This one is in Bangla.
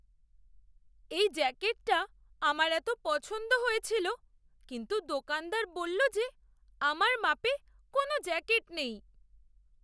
এই জ্যাকেটটা আমার এত পছন্দ হয়েছিল, কিন্তু দোকানদার বললো যে আমার মাপে কোনও জ্যাকেট নেই।